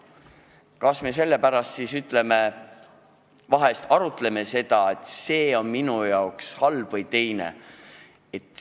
Kas me sellepärast vahel arutleme selle üle, kui hea või halb üks või teine asi on?